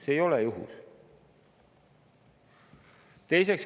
See ei ole juhus!